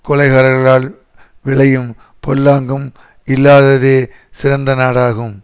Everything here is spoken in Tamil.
கொலைகாரர்களால் விளையும் பொல்லாங்கும் இல்லாததே சிறந்த நாடாகும்